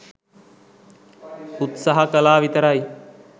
උත්සාහ කලා විතරයි.